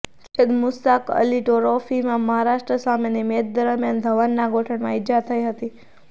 સૈયદ મુસ્તાક અલી ટ્રોફીમાં મહારાષ્ટ્ર સામેની મેચ દરમિયાન ધવનના ગોઠણમાં ઇજા થઇ હતી